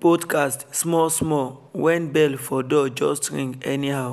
podcast small small when bell for door just ring anyhow